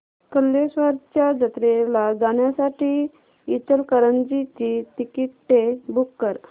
कल्लेश्वराच्या जत्रेला जाण्यासाठी इचलकरंजी ची तिकिटे बुक कर